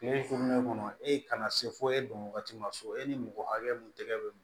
Kile kuuru kɔnɔ e kana se fo e don wagati ma so e ni mɔgɔ hakɛ mun tɛgɛ be